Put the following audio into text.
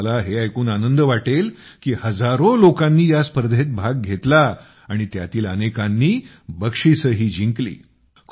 तुम्हाला हे ऐकून आनंद वाटेल की हजारो लोकांनी या स्पर्धेत भाग घेतला आणि त्यातील अनेकांनी बक्षिसेही जिंकली